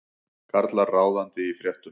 Karlar ráðandi í fréttum